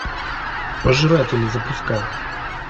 пожиратели запускай